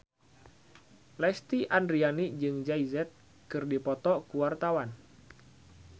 Lesti Andryani jeung Jay Z keur dipoto ku wartawan